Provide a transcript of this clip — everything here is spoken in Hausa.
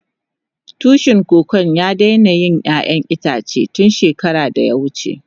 Tushin Kokon ya daina yin ƴayan itace tun shekara da ya wuce.